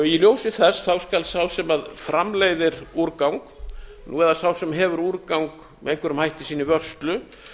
í ljósi þess skal sá sem framleiðir úrgang eða sá sem hefur úrgang með einhverjum hætti í sinni vörslu